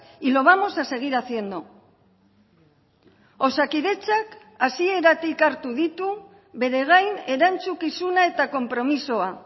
y lo vamos a seguir haciendo osakidetzak hasieratik hartu ditu bere gain erantzukizuna eta konpromisoa